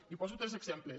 i poso tres exemples